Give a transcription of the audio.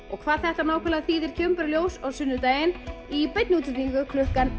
og hvað þetta nákvæmlega þýðir kemur bara í ljós á sunnudaginn í beinni útsendingu klukkan